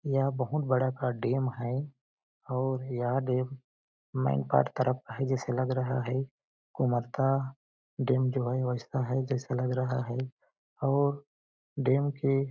यह बहुत बड़ा का डेम है और यहाँ डेम मैनपाट तरफ है जैसे लग रहा है को मरता डेम जो है ऐसा है लग रहा है और डेम के --